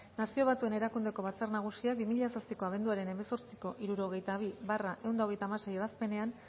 nazio batuen erakundeko batzar nagusiak bi mila zazpiko abenduaren hemezortziko hirurogeita bi barra ehun eta hogeita hamasei ebazpenean